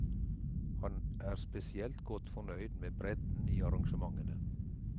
Han er spesielt godt fornøyd med bredden i arrangementene.